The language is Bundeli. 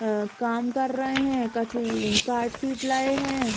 अ काम कर रहे है कछु कार्डशीट लाए हैं।